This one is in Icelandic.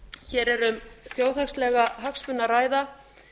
hér er um þjóðhagslega hagsmuni að ræða